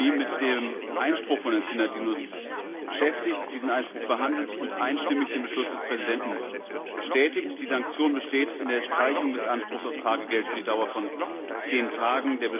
6. Juni, mit dem Einspruch von Herrn Synadinos beschäftigt, diesen Einspruch behandelt und einstimmig den Beschluss des Präsidenten bestätigt. Die Sanktion besteht in der Streichung des Anspruchs auf Tagegeld für die Dauer von zehn Tagen.